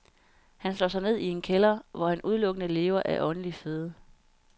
Han slår sig ned i en kælder, hvor han udelukkende lever af åndelig føde.